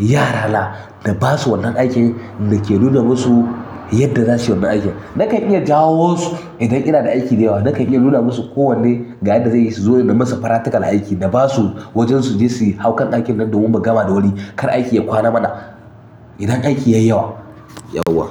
yarana na basu wannan aikin na ke nuna masu yadda zasuyi wannan aikin. Nakan iya jawo su idan ina da aiki da yawa, nakan iya nuna musu kowanne ga yadda zaiyi su zo na musu practical a aiki, na basu waje suje su hau kan aikin nan domin mu gama da wuri kar aiki ya kwana mana idan aiki yayi yawa.